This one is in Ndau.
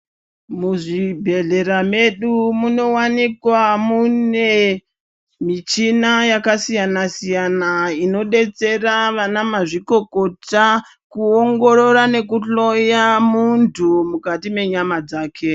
Muzvibhedhlera mwedu munowanikwa mune michina yakasiyana-siyana inodetsera ana mazvikokota kuongorora ngekuhloya muntu mukati menyama dzake.